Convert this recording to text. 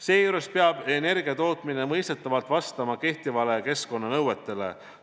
Seejuures peab energiatootmine mõistetavalt vastama kehtivatele keskkonnanõuetele.